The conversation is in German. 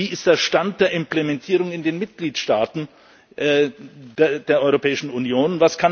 Wie ist der Stand der Implementierung in den Mitgliedstaaten der Europäischen Union?